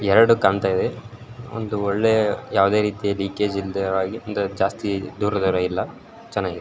ಎರಡು ಕಾಣ್ತಾಯಿದೆ ಒಂದು ಒಳ್ಳೆ ಯಾವುದೇ ರೀತಿಯ ಲೀಕಜೆ ಇಲ್ದೆ ಇರುವಹಾಗೆ ಜಾಸ್ತಿ ದೂರ ದೂರ ಇಲ್ಲ ಚನಾಗಿದೆ.